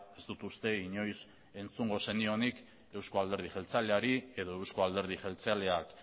ez dut uste inoiz entzungo zenionik euzko alderdi jeltzaleari edo euzko alderdi jeltzaleak